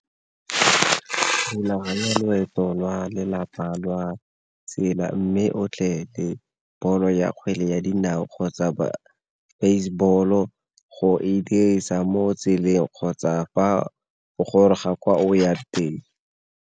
Rulaganya loeto lwa lelapa lwa tsela, mme o tle le ball-o ya kgwele ya dinao kgotsa baseball-o go e dirisa mo tseleng kgotsa fa o goroga kwa o yang teng.